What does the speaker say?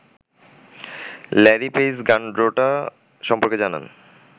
Larry Page Gundotra সম্পর্কে জানান